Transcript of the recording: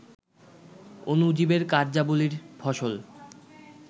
অণুজীবের কার্যাবলীর ফসল